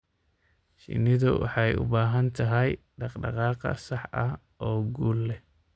Shinnidu waxay u baahan tahay dhaqdhaqaaq sax ah oo guul leh.